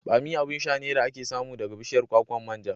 Bammi abin sha ne da ake samu daga bishiyar kwakwan manja.